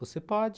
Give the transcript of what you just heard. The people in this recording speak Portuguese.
Você pode.